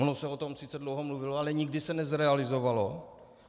Ono se o tom sice dlouho mluvilo, ale nikdy se nezrealizovalo.